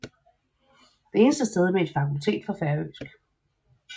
Det eneste sted med et fakultet for færøsk